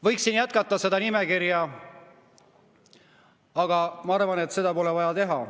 Võiksin jätkata seda nimekirja, aga ma arvan, et seda pole vaja teha.